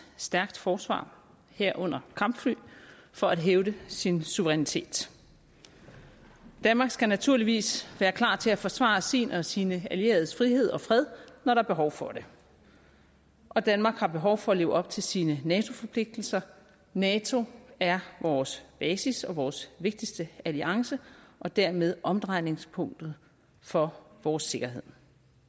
stærkt forsvar herunder kampfly for at hævde sin suverænitet danmark skal naturligvis være klar til at forsvare sin og sine allieredes frihed og fred når der er behov for det og danmark har behov for at leve op til sine nato forpligtelser nato er vores basis og vores vigtigste alliance og dermed omdrejningspunktet for vores sikkerhed